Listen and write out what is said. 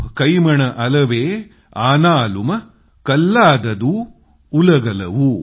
कड्डत कयिमन अडवा कल्लादार ओलाआडे